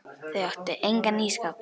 Þau áttu engan ísskáp.